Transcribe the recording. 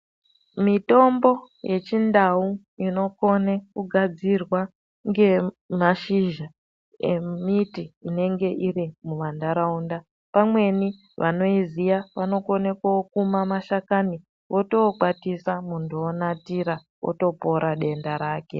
Mitombo yechindau inokone kugadzirwa ngemashizha emiti inenge iri mumantaraunda pamweni vanoiziya vanokone kokuma mashakani votokwatisa muntu onatira otopora denda rake.